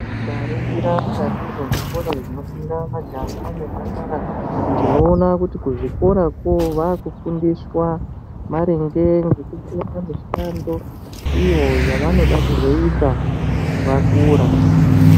Tikaningira mukati mezvikora zvinofunda majaha nemhandara tinoona kuti kuzvikora vakufundira maringe nemishando iyo yavanoda kuzoita vakura.